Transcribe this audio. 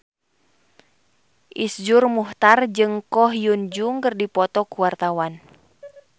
Iszur Muchtar jeung Ko Hyun Jung keur dipoto ku wartawan